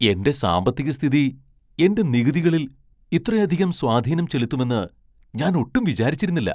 എന്റെ സാമ്പത്തികസ്ഥിതി എന്റെ നികുതികളിൽ ഇത്രയധികം സ്വാധീനം ചെലുത്തുമെന്ന് ഞാൻ ഒട്ടും വിചാരിച്ചിരുന്നില്ല.